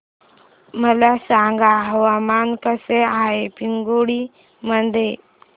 मला सांगा हवामान कसे आहे पिंगुळी मध्ये